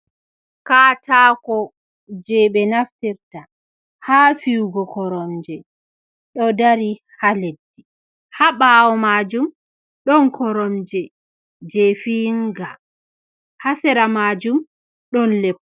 Kataako je ɓe naftirta ha fiyugo koronje ɗo dari ha leddi, ha ɓawo maajum don koromje je fiyiga hasera majum ɗon lep.